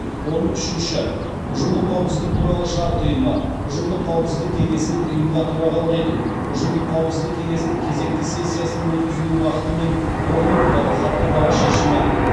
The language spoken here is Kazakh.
он үшінші ұжымдық қауіпсіздік туралы шарт ұйымы ұжымдық қауіпсіздік кеңесінің ұйымға төрағалық ету ұжымдық қауіпсіздік қеңесінің кезекті сессиясының өткізілу уақыты мен орны туралы хаттамалық шешімі